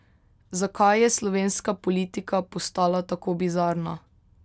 Zakaj je slovenska politika postala tako bizarna?